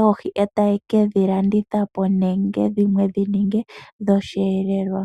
oohi e taye ke dhi landitha po nenge dhimwe dhi ninge osheelelwa.